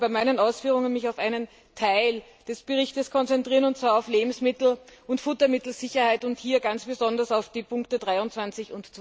Ich möchte mich aber bei meinen Ausführungen auf einen Teil des Berichts konzentrieren, und zwar auf die Lebensmittel und Futtermittelsicherheit, und hier ganz besonders auf die Ziffern 23